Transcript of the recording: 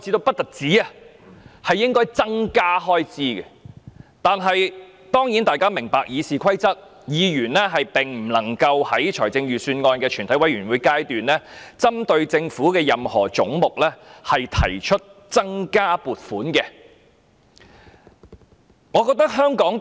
不過，大家也明白，根據《議事規則》，議員並不可在全體委員會審議階段，就政府預算案中任何總目提出增加開支的修正案。